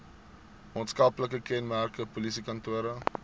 maatskaplike kenmerke polisiekantore